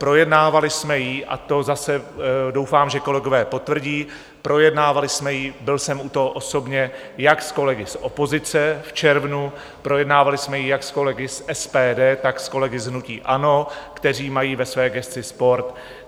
Projednávali jsme ji, a to zase doufám, že kolegové potvrdí, projednávali jsme ji, byl jsem u toho osobně, jak s kolegy z opozice v červnu, projednávali jsme ji jak s kolegy z SPD, tak s kolegy z hnutí ANO, kteří mají ve své gesci sport.